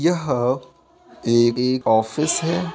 यहा एग-एग ऑफिस है।